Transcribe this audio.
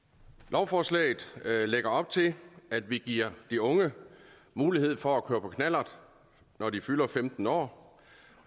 lovforslaget lægger op til at vi giver de unge mulighed for at køre på knallert når de fylder femten år